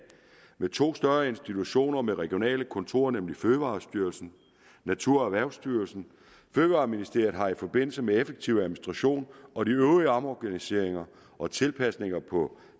med to større institutioner med regionale kontorer nemlig fødevarestyrelsen og natur og erhvervsstyrelsen fødevareministeriet har i forbindelse med effektiv administration og de øvrige omorganiseringer og tilpasninger på